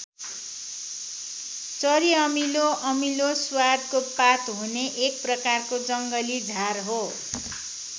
चरिअमिलो अमिलो स्वादको पात हुने एक प्रकारको जङ्गली झार हो।